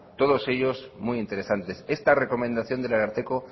todos ellos muy interesantes esta recomendación del ararteko